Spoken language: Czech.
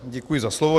Děkuji za slovo.